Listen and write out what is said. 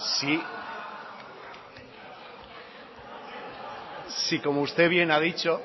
si como usted bien ha dicho